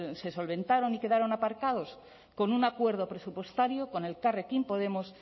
se solventaron y quedaron aparcados con un acuerdo presupuestario con elkarrekin podemos